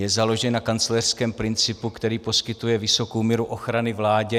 Je založen na kancléřském principu, který poskytuje vysokou míru ochrany vládě.